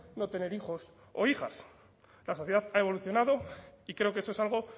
no tener hijos o hijas la sociedad ha evolucionado y creo que eso es algo